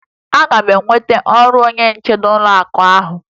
Aga m enweta ọrụ onye nche n'ụlọakụ ahụ